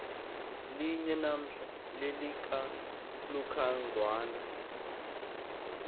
linye namhla lelikalucangwana